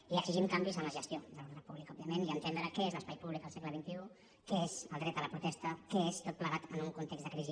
i exigim canvis en la gestió de l’ordre públic òbviament i entendre què és l’espai públic al segle xxi què és el dret a la protesta què és tot plegat en un context de crisi